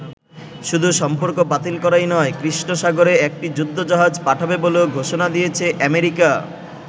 শুধু সম্পর্ক বাতিল করাই নয়, কৃষ্ণ সাগরে একটি যুদ্ধ জাহাজ পাঠাবে বলেও ঘোষণা দিয়েছে অ্যামেরিকা।